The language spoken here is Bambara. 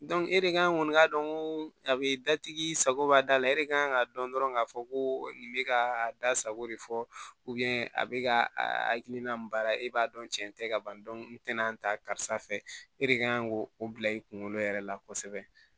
e de kan kɔni k'a dɔn ko a be datigi sago b'a da la e de kan ka dɔn dɔrɔn k'a fɔ ko nin bɛ ka da sago de fɔ a bɛ ka a hakilina min baara e b'a dɔn cɛn tɛ ka ban n tɛna ta karisa fɛ e de kan k'o o bila i kunkolo yɛrɛ la kosɛbɛ